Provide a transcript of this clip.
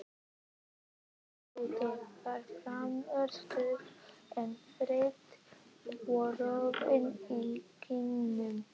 Andlitið var fremur stutt, en frítt og roði í kinnum.